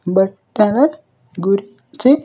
బట్టల గురించి.